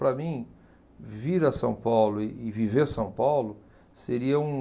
Para mim, vir a São Paulo e e viver São Paulo seria um...